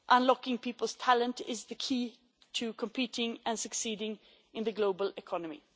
Unlocking people's talent is the key to competing and succeeding in the global economy.